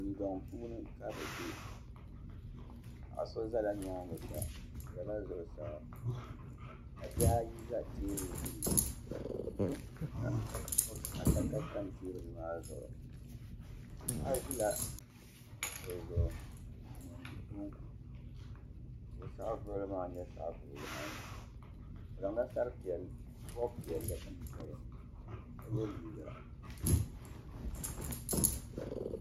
Dundɔŋ puuni ka bi bɛ paɣa so zala nyaanga sa o zala zuɣusaa ka bihi ayi za teebuli gbuni ka adaka tam teebuli maa zuɣu paɣa ʒila kuɣu zuɣu n mɔndi bɔnku ka o saɣavuɣili maa nyɛ saɣavuɣu waɣinli o zaŋ la bɔbi piɛlli n bɔbi ka yɛ liiga.